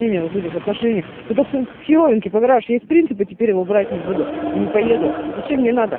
вот этих отношений по хирургии поиграешь есть принципы теперь его брать не буду и не поеду зачем